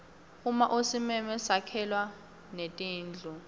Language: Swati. uma usimeme sakhelwa netindlu